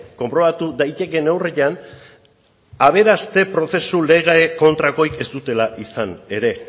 konprobatu daitekeen neurrian aberaste prozesu lege kontrakorik ez dutela izan ere